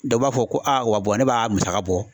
Dɔ b'a fɔ ko wa ne b'a musaka bɔ